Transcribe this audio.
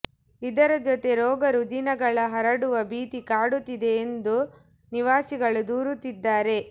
ಇದರ ಜೊತೆ ರೋಗ ರುಜಿನುಗಳ ಹರಡುವ ಭೀತಿ ಕಾಡುತ್ತಿದೆ ಎಂದು ನಿವಾಸಿಗಳು ದೂರುತ್ತಿದ್ದಾರೆ